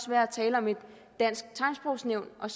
være at tale om et dansk tegnsprogsnævn og